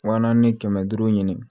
Wa naani ni kɛmɛ duuru ɲini